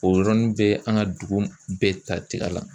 O yɔrɔnin bɛɛ an ka dugu bɛɛ ta tiga la.